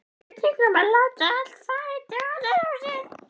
Spurning um að láta allt fara í taugarnar á sér?